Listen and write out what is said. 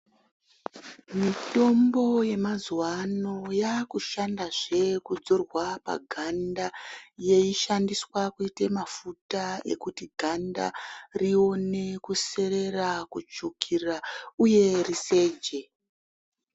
Mitombo yemazuwaano yaakushanda zve kudzorwa paganda yeishandiswa kuite mafuta ekuti ganda rione kuserera kutsvuka uye riseje.